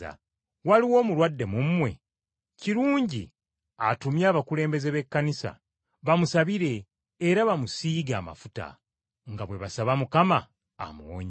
Waliwo omulwadde mu mmwe? Kirungi atumye abakulembeze b’Ekkanisa, bamusabire, era bamusiige amafuta, nga bwe basaba Mukama amuwonye.